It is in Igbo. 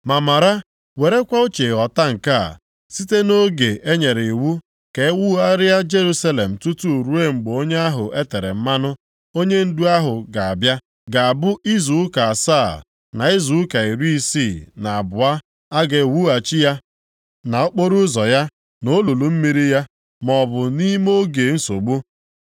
“Ma mara, werekwa uche ghọta nke a: Site nʼoge e nyere iwu ka e wugharịa Jerusalem tutu ruo mgbe Onye ahụ e tere mmanụ, onyendu ahụ ga-abịa, ga-abụ izu ụka asaa, na izu ụka iri isii na abụọ, a ga-ewughachi ya, na okporoụzọ ya, na olulu mmiri ya, maọbụ nʼime oge nsogbu.